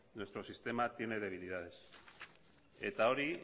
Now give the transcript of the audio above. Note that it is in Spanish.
nuestro sistema tiene debilidades eta hori